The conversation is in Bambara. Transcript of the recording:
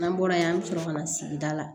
N'an bɔra yen an bɛ sɔrɔ ka na sigida la